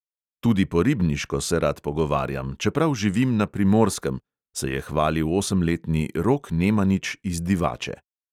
Tudi po ribniško se rad pogovarjam, čeprav živim na primorskem, se je hvalil osemletni rok nemanič iz divače.